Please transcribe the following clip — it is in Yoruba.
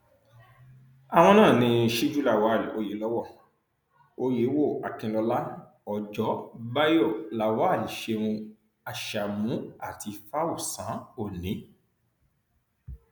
àwọn náà ní síju lawal oyèlọwọ oyèwò akinlọla ọjọ báyọ lawal ṣeun ashamu àti fáọsán òní